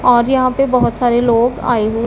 और यहां पे बहुत सारे लोग आए हुए--